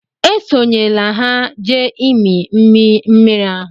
Esonyela ha jee ịmị mmiri ahụ!